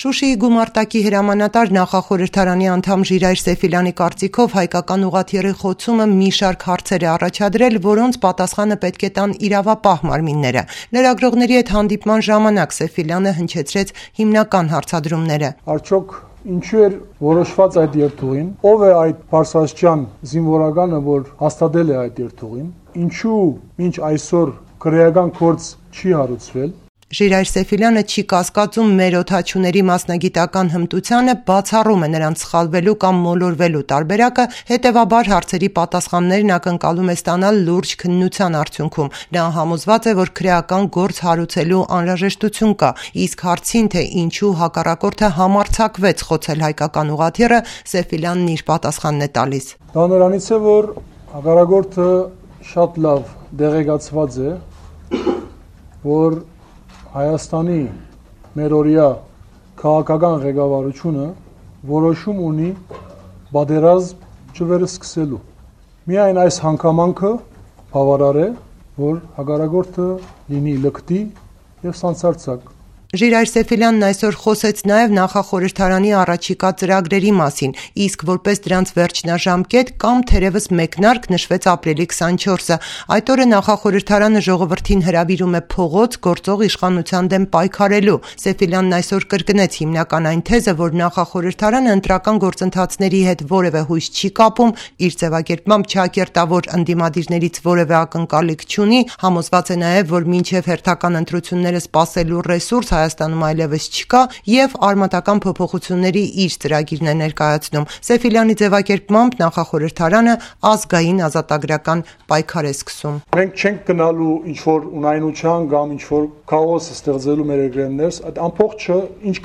Շուշիի գումարտակի հրամանատար, Նախախորհրդարանի անդամ Ժիրայր Սեֆիլյանի կարծիքով ՝ հայկական ուղղաթիթռի խոցումը մի շարք հարցեր է առաջադրել, որոնց պատասխանը պետք է տան իրավապահ մարմինները: Լրագրողների հետ հանդիպման ժամանակ Սեֆիլյանը հնչեցրեց հիմնական հարցադրումները: «Ինչ նպատակով էր նման երթուղի ընտրվել, ով էր կայացրել որոշումը, ինչու մինչ այսօր քրեկան գործ չի հարուցվել»: Ժիրայր Սեֆիլյանը չի կասկածում մեր օդաչուների մասնագիտական հմտությանը, բացառում է նրանց սխալվելու կամ մոլորվելու տարբերակը, հետևաբար հարցերի պատասխաններն ակնկալում է ստանալ լուրջ քննության արդյուքնում: Նա համոզված է, որ քրեական գործ հարուցելու անհարաժեշտություն կա: Իսկ հարցին, թե ինչո՞ւ հակառակորդը համարձակվեց խոցել հայկական ուղղաթիռը, Սեֆիլյանն իր պատասխանն է տալիս: «Դա նրանից է, որ հակառակորդը շատ լավ տեղեկացված է, որ Հայաստանի քաղաքական ղեկավարությունը որոշում ունի պատերազմ չվերսկսելու: Միայն սա բավարար է, որ հակառակորդը լինի լկտի եւ սանձարձակ»: Ժիրայր Սեֆիլյանն այսօր խոսեց նաև Նախախորհրդարանի առաջիկա ծրագրերի մասին: Իսկ որպես դրանց վերջնաժամկետ կամ մեկնարկ նշվեց Ապրիլի 24-ը. այդ օրը Նախախորհրդարանը ժողովրդին հրավիրում է փողոց` գործող իշխանության դեմ պայքարելու: Ժիրայր Սեֆիլյանն այսօր կրկնեց հիմնական այն թեզը, որ Նախախորհրդարանը ընտրական գործընթացների հետ որևէ հույս չի կապում, չակերտավոր ընդդիամդիրներից որևէ ակնակալիք չունի, համոզված է, որ մինչև հերթական ընտրությունները սպասելու ռեսուրս Հայաստանն այլևս չկա և արմատական փոփոխությունների իր ծրագիրն է նրկայացնում: Սէֆիլյանի ձևակերպմամբ՝ Նանախորհրդարանը ազգային-ազատագրական պայքար է սկսում: «Մենք չենք գնալու քաոսի ճանապարհով, մեր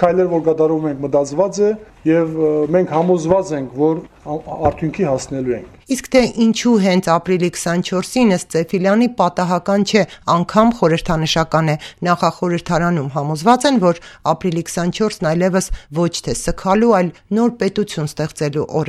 քայլերը մտածված են եւ համոզված ենք, որ արդյունքի հասնելու ենք»: Իսկ թե ինչու հենց ապրիլի 24-ին, ըստ Սեֆիլյանի պատահական չէ, անգամ խորհրդանշական է: Նախախորհրդարանում համոզված են, որ ապրիլի 24-ն այլեւս սգալու, այլ նոր պետություն ստեղծելու օր